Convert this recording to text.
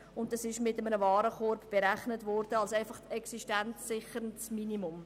Die Basis bildete der Warenkorb des existenzsichernden Minimums.